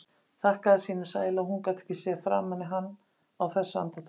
Þakkaði sínum sæla að hún gat ekki séð framan í hann á þessu andartaki.